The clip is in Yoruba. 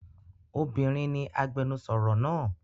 Obinrin ni agbẹnusọro naa.